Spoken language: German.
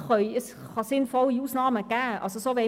Es kann sinnvolle Ausnahmen geben.